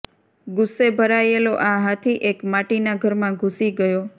ગુસ્સે ભરાયેલો આ હાથી એક માટીના ઘરમાં ઘૂસી ગયો